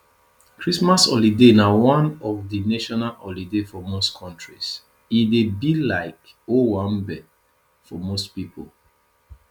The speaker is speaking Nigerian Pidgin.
christmas holiday na one of di national holiday for most countries e dey be like owanbe for most pipo